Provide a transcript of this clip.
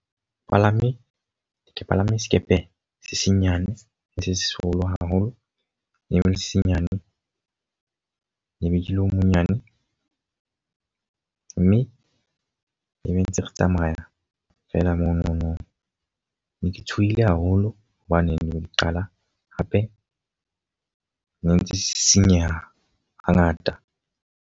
Palame ke palame sekepe se senyane le se seholo haholo. E ebile se senyane lebenkele o monyane. Mme ne ntse re tsamaya feela monono. Ne ke tshohile haholo hobaneng le bo di qala hape ne ntse se sisinyeha ha ngata.